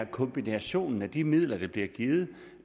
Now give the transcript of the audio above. kombinationen af de midler der bliver givet